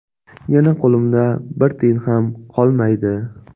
Yana qo‘limda bir tiyin ham qolmaydi.